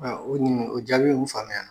o jaabi, i ye mun faamuya